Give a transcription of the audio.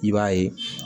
I b'a ye